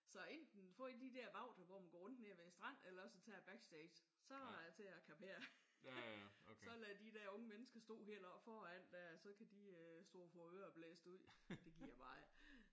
Så enten få en af de der vagter hvor man går rundt nede ved stranden stå eller også tager jeg backstage. Så er det til at kapere. Så lader jeg de der unge mennesker stå helt oppe foran der. Så kan de stå og få ørerne blæst ud. Det gider jeg bare ikke